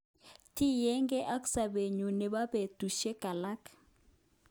Tinyege ak sobeyun nebo betushek alak.